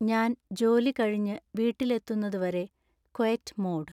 ഞാൻ ജോലി കഴിഞ്ഞ് വീട്ടിലെത്തുന്നത് വരെ ക്വൈറ്റ് മോഡ്